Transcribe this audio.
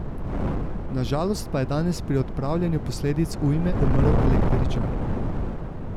Na žalost pa je danes pri odpravljanju posledic ujme umrl električar.